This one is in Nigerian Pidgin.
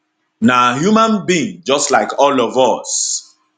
na human being just like all of us